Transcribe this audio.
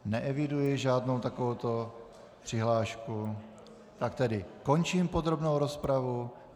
Neeviduji žádnou takovouto přihlášku, pak tedy končím podrobnou rozpravu.